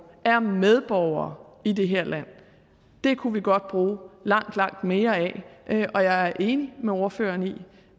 er medborgere i det her land det kunne vi godt bruge langt langt mere af og jeg er enig med ordføreren i